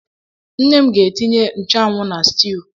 Nne m ga-etinye nchúanwú n'steewû